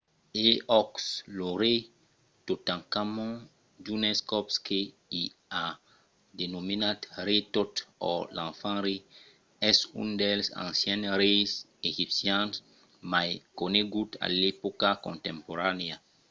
e òc! lo rei totankhamon d’unes còps que i a denomenat rei tot or l'enfant rei es un dels ancians reis egipcians mai coneguts a l’epòca contemporanèa